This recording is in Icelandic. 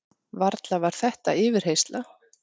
Varla var þetta yfirheyrsla?